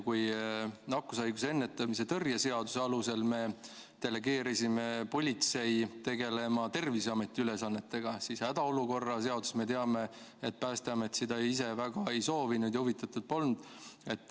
Kui nakkushaiguste ennetamise ja tõrje seaduse alusel me delegeerisime politsei tegelema Terviseameti ülesannetega, siis hädaolukorra seaduse puhul me teame, et Päästeamet seda ise väga ei soovinud ja sellest huvitatud polnud.